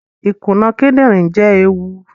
Ikuna kidinrin jẹ eewu